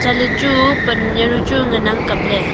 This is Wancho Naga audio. chatley chu pan jawnu chu ngan ang kapley.